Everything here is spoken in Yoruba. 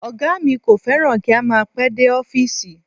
Ọ̀gá mi kò fẹ́ràn kí a máa pẹ́ dé ọfísì